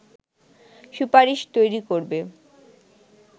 সুপারিশ তৈরী করবে